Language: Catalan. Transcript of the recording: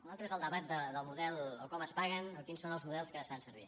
un altre és el debat del model o com es paguen o quins són els models que es fan servir